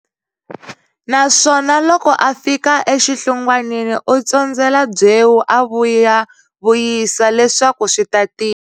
Naswona loko a fika exihlungwanini u tsondzela byewu a vuyavuyisa leswaku swi ta tiya.